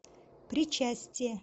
причастие